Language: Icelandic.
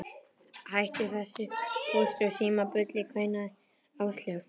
Hættu þessu Póst og Síma bulli kveinaði Áslaug.